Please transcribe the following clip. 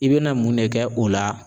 I bɛ na mun ne kɛ o la.